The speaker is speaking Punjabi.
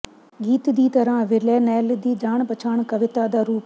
ਗੀਤ ਦੀ ਤਰ੍ਹਾਂ ਵਿਲੈਨੈੱਲ ਦੀ ਜਾਣ ਪਛਾਣ ਕਵਿਤਾ ਦਾ ਰੂਪ